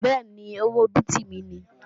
Bẹ́ẹ̀ni, owó bíìtì mi ni